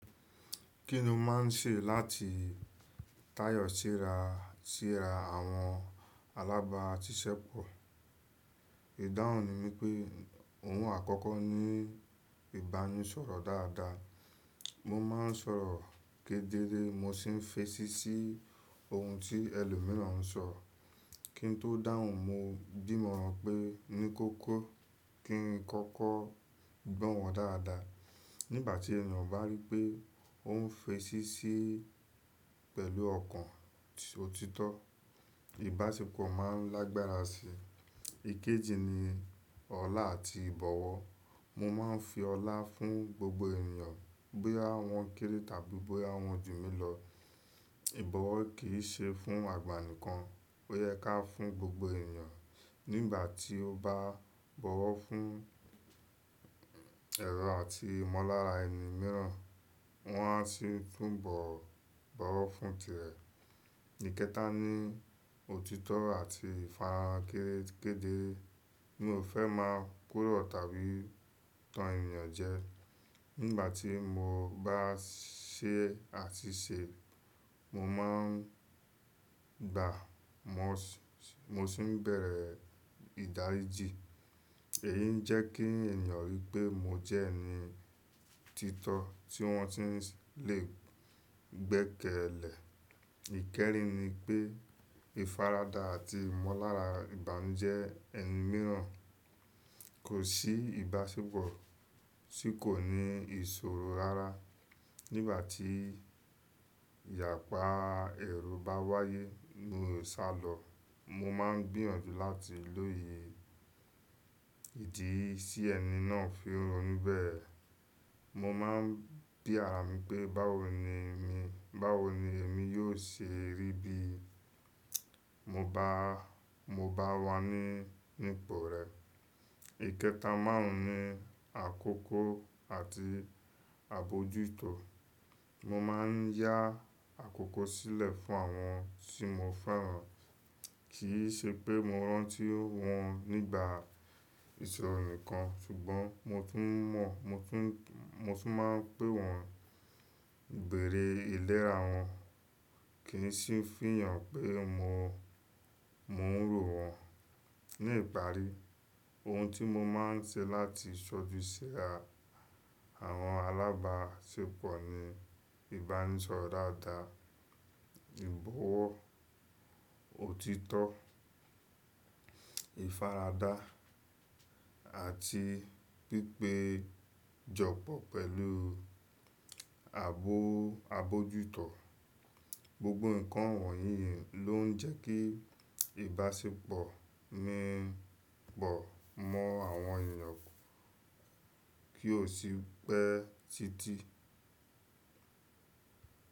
Kí ni o máa ń ṣe láti táyọ̀ sí ra, sí ra àwọn alábàáṣiṣẹ́pọ̀? Ìdáhùn ni mí pé ohun àkọ́kọ́ ní ìbánisọ̀rọ̀ dáadáa. Mo maa ń sọ̀rọ̀ kedere mo sì ń fetí sí ohun tí ẹlòmíràn ń sọ. Kí n tó dáhùn mo dí mo pe ní koko kí n kọ́kọ́ gbọ́ wọn dáadáa. Nígbà tí ènìyàn bá rí pé òún fetí sí pẹ̀lú ọ̀kan ti o títọ́, ìbáṣepọ̀ máa ń lágbára si. Ikeji ni ọlá àti ìbọ̀wọ̀. Mo ma ń fi ọlá fún gbogbo ènìyàn bóyá wọ́n kéré tàbí bóyá wọ́n jù mí lọ. Ìbọ̀wọ̀ kì í ṣe fún àgbà nìkan, ó yẹ ká fún gbogbo ènìyàn. Nígbà tí o bá bọ̀wọ̀ fún ẹ̀rọ àti ìmọ̀lára ẹlomìíràn, wọ́n á sì túbọ̀ bọ̀wọ̀ fún tìrẹ. Ikẹta ní òtítọ́ àti ìfara kere kede. Mi ò fẹ́ máa kúrò tàbí tan ènìyàn jẹ. Nígbà tí mo bá ṣẹ́ àti ṣe, mo ma ń gbàá mo si mo sì ń bẹ̀rẹ̀ ìdáríjì. Èyí ń jẹ́ kí ènìyàn rí pé mo jẹ́ ẹni títọ́ tí wọ́n sì le gbẹ́kẹ̀lẹ̀. Ikẹrin ni pé ìfaradà àti ìmọ̀lára ìbànújẹ́ ẹlomìíràn kò sí ìbáṣepọ̀ tí kò ní ìṣòro rara. Nígbà tí ìyàpá èrò bá wáyé, mi ò sá lọ. Mo ma ń gbìyànjú láti lóye ìdí tí ẹni náà fi ronú bẹ́ẹ̀. Mo ma ń bí àrà pé báwo ni mi, báwo ni èmi yóò ṣe rí bí mo bá, mo bá wà ní, ní ipò rẹ̀. Ikẹta márùn-ún ni àkókò àti àbojútó. Mo ma ń yá àkókò sílẹ̀ fún àwọn tí mo fẹ́ràn. Kì í ṣe pé mo rántí wọ́n nígbà ìṣọ̀rọ̀ nikan ṣùgbọ́n mo tún mọ̀, mo tún, mo tún máa ń pé wọ́n béèrè ìlera wọn. Kìn sì ń fihàn pé mo, mo ń ro wọ́n. Ni ìparí, ohun tí mo máa ń ṣe láti ṣojú ṣe àwọn alábáṣepọ̀ ni ìbánisọ̀rọ̀ dáadáa, ìbọ̀wọ̀, òtítọ́, ìfaradà àti pípéjọpọ̀ pẹ̀lú àbọ̀, àbojútó. Gbogbo ǹkan wọ̀nyí ló ń jẹ́ kí ìbáṣepọ̀ mi pọ̀ mọ́ àwọn ènìyàn kí ó sì pé títí.